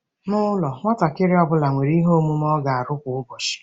N'ụlọ, nwatakịrị ọ bụla nwere ihe omume ọ ga-arụ kwa ụbọchị.